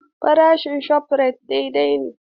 Farashi a Shofrayit daidai ne.